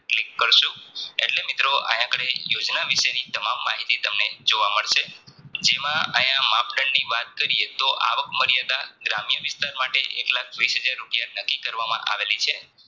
Click કરશુ એટલે મિત્રો આયા આગળ યોજના વિશેની તમામ માહિતી તમને જોવા મળશે જેમાં આયા માપદંડની વાત કરીયે તો આવક મર્યાદા ગ્રામ્ય વિસ્તાર માટે એકલાખ વીશહજાર રૂપિયા નકી કરવામાં આવેલી છે